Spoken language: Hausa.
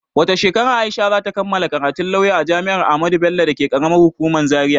Wata shekara Aisha za ta kammala karatun lauya a jami'ar Ahmadu Bello dake ƙaramar hukuman Zaria.